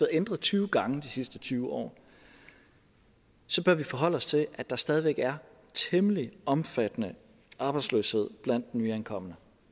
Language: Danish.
ændret tyve gange de sidste tyve år så bør vi forholde os til at der stadigvæk er temmelig omfattende arbejdsløshed blandt nyankomne